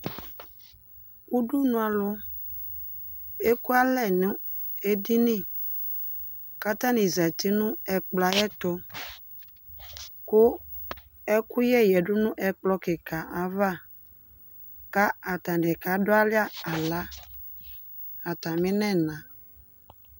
udunualʊ ekualɛ nʊ edini kʊ atani zati nʊ ekplɔ ayɛtʊ kʊ ɛkʊyɛ yadʊ nʊ ekplɔ kɩka ayava kʊ atanɩ kadʊalɛ axla atamɩnɛna